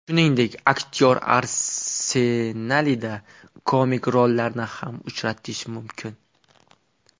Shuningdek, aktyor arsenalida komik rollarni ham uchratish mumkin.